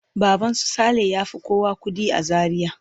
Baban su Saleh ya fi kowa kuɗi a Zaria.